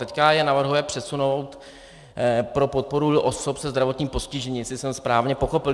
Teď je navrhuje přesunout pro podporu osob se zdravotním postižením, jestli jsem správně pochopil.